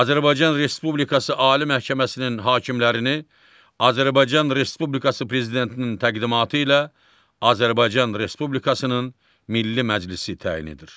Azərbaycan Respublikası Ali Məhkəməsinin hakimlərini Azərbaycan Respublikası Prezidentinin təqdimatı ilə Azərbaycan Respublikasının Milli Məclisi təyin edir.